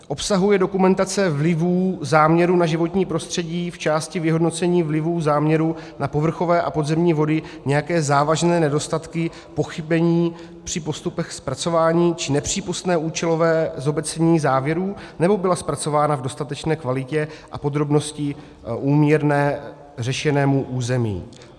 Obsahuje dokumentace vlivů záměru na životní prostředí v části vyhodnocení vlivů záměru na povrchové a podzemní vody nějaké závažné nedostatky, pochybení při postupech zpracování či nepřípustné účelové zobecnění závěrů, nebo byla zpracována v dostatečné kvalitě a podrobnosti úměrné řešenému území?